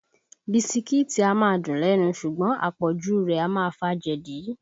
Bisikíìtì a máa dùn lẹ́nu ṣùgbọ́n àpọ̀jù u rẹ̀ a máa fa jẹ̀dí